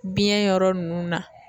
Biɲɛn yɔrɔ nunnu na.